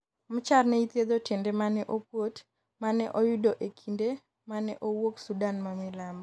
Machar ne ichietho tiende mane okuot mane oyudo e kinde mane owuok Sudan mamilambo